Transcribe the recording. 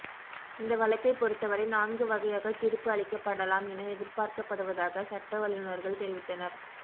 இந்த வழக்கைப் பொருத்தவரை நான்கு வகையாக தீர்ப்பு அளிக்கப்படலாம் என எதிர்பார்க்கப்படுவதாக சட்ட வல்லுனர்கள் தெரிவித்தனர்